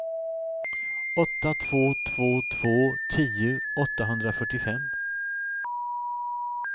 åtta två två två tio åttahundrafyrtiofem